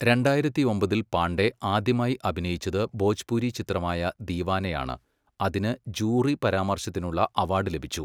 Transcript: രണ്ടായിരത്തിയൊമ്പതിൽ പാണ്ഡെ ആദ്യമായി അഭിനയിച്ചത് ഭോജ്പുരി ചിത്രമായ ദീവാനയാണ്, അതിന് ജൂറി പരാമർശത്തിനുള്ള അവാഡ് ലഭിച്ചു.